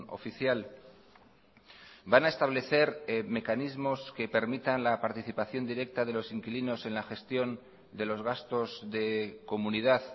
oficial van a establecer mecanismos que permitan la participación directa de los inquilinos en la gestión de los gastos de comunidad